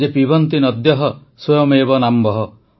ପିବନ୍ତି ନଦ୍ୟଃ ସ୍ୱୟମେବ ନାମ୍ଭଃ